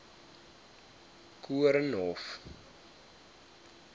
koornhof